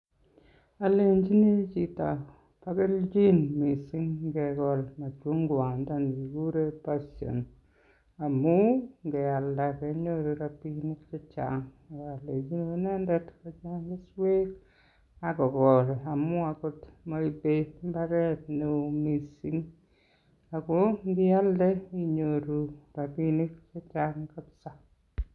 Olenjini chito bo kelchin mising ingekol ngwondoni kiguren passion amun ngealda kenyoru rabishek che chang. Ak alenchini inendet kocheng keswek ak kokol amun agot moibe mbaret neo mising. Ago ngialde inyoru rabinik che chang kabisa.